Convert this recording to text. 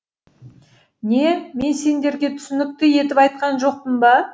не мен сендерге түсінікті етіп айтқан жоқпын ба